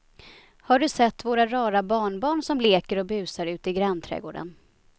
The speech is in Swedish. Har du sett våra rara barnbarn som leker och busar ute i grannträdgården!